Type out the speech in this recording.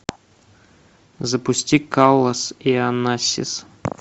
запусти каллас и онассис